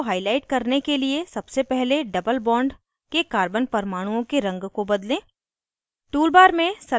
doublebond को highlight करने के लिए सबसे पहले doublebond के carbon परमाणुओं के रंग को बदलें